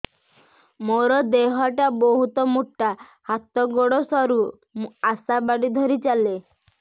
ମୋର ଦେହ ଟା ବହୁତ ମୋଟା ହାତ ଗୋଡ଼ ସରୁ ମୁ ଆଶା ବାଡ଼ି ଧରି ଚାଲେ